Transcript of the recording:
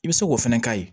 I bɛ se k'o fana k'a ye